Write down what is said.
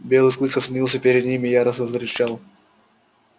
белый клык остановился перед ним и яростно зарычал